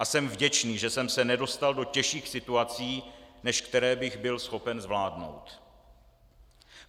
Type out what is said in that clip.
A jsem vděčný, že jsem se nedostal do těžších situací, než které bych byl schopen zvládnout.